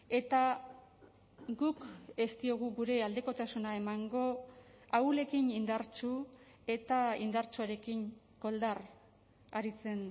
eta guk ez diogu gure aldekotasuna emango ahulekin indartsu eta indartsuarekin koldar aritzen